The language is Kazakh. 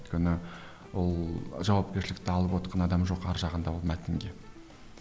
өйткені ол жауапкершілікті алып отқан адам жоқ ар жағында ол мәтінге